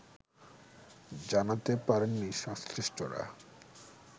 জানাতে পারেননি সংশ্লিষ্টরা